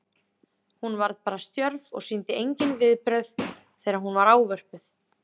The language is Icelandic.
Hún varð bara stjörf og sýndi engin viðbrögð þegar hún var ávörpuð.